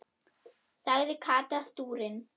sagði Kata stúrin.